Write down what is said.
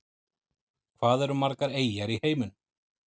Hvað eru margar eyjar í heiminum?